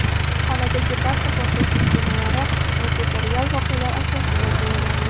Xonadagi barcha portlash uskunalari maketi real voqealar asosida tayyorlangan.